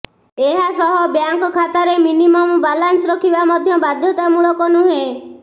ଏହାସହ ବ୍ୟାଙ୍କ ଖାତାରେ minimum balance ରଖିବା ମଧ୍ୟ ବାଧ୍ୟତାମୂଳକ ନୁହେଁ